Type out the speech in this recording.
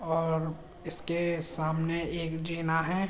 और इसके सामने एक जीना है।